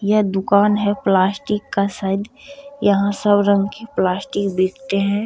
यह दुकान है प्लास्टिक का शायद यहां सब रंग की प्लास्टिक बेचते हैं।